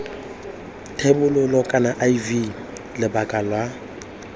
thebolo kana iv lebaka la